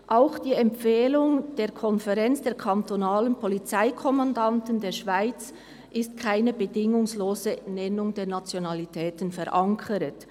Auch in der Empfehlung der Konferenz der kantonalen Polizeikommandanten der Schweiz (KKPKS) ist keine bedingungslose Nennung der Nationalitäten verankert.